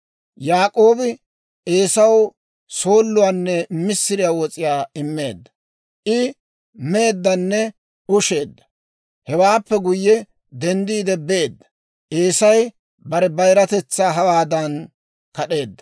Yaak'oobi Eesaw sooluwaanne missiriyaa wos'iyaa immeedda; I meeddanne usheedda; hewaappe guyye denddiide beedda. Eesay bare bayiratetsaa hawaadan kad'eedda.